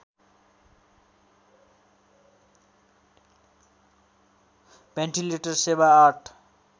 ventilator सेवा ८